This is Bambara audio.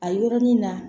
A yɔrɔnin na